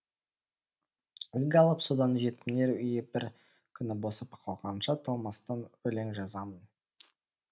үлгі алып содан жетімдер үйі бір күнібосап қалғанша талмастан өлең жазамын